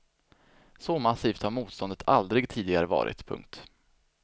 Så massivt har motståndet aldrig tidigare varit. punkt